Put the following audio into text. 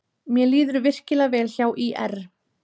Mér líður virkilega vel hjá ÍR.